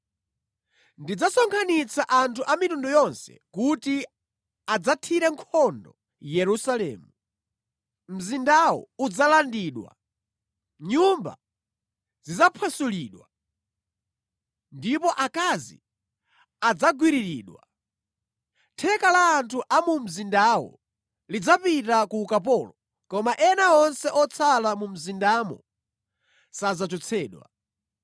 Ndidzasonkhanitsa anthu a mitundu yonse kuti adzathire nkhondo Yerusalemu; mzindawu udzalandidwa, nyumba zidzaphwasulidwa, ndipo akazi adzagwiriridwa. Theka la anthu a mu mzindamu lidzapita ku ukapolo, koma ena onse otsala mu mzindamu sadzachotsedwa.